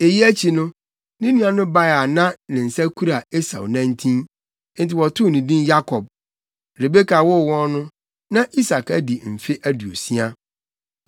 Eyi akyi no, ne nua no bae a na ne nsa kura Esau nantin; enti wɔtoo ne din Yakob. Rebeka woo wɔn no, na Isak adi mfe aduosia.